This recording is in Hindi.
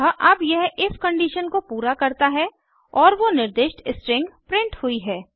अतः अब यह इफ कंडीशन को पूरा करता है और वो निर्दिष्ट स्ट्रिंग प्रिंट हुई है